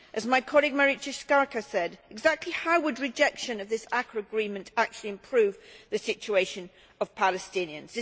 As my colleague, Marietje Schaake said, exactly how would rejection of this ACAA Agreement actually improve the situation of Palestinians?